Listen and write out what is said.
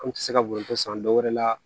An tɛ se ka bonyan ko san dɔwɛrɛ la